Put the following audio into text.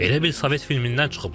Elə bil sovet filmindən çıxıblar.